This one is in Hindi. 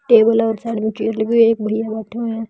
टेबल और साइड में चेयर लगी हुई है एक भैया बैठे हुए हैं।